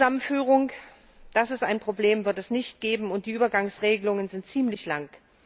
Familienzusammenführung das ist ein Problem wird es nicht geben, und die Übergangsregelungen sind ziemlich lang.